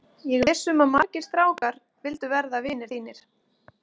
Ég er viss um að margir strákar vildu verða vinir þínir.